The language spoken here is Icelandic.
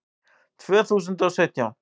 Tvö þúsund og sautján